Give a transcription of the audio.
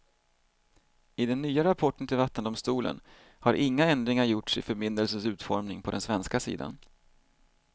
I den nya rapporten till vattendomstolen har inga ändringar gjorts i förbindelsens utformning på den svenska sidan.